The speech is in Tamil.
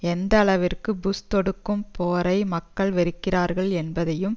எந்த அளவிற்கு புஷ் தொடுக்கும் போரை மக்கள் வெறுக்கிறார்கள் என்பதையும்